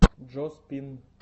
джо спин